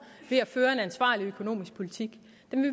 ved at føre en ansvarlig økonomisk politik